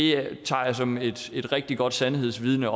jeg tager det som et rigtig godt sandhedsvidne